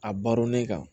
A baronnen kan